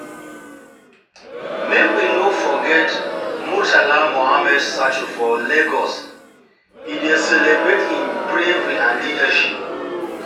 Make we no forget Murtala Muhammed Statue for Lagos, e dey celebrate im bravery and leadership.